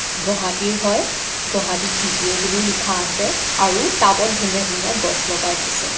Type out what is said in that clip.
গহাটী ৰ হয়. গহাটী জি_পি_অ বুলিও লিখা আছে আৰু টাবত ধুনীয়া ধুনীয়া গছ লগাই থৈছে.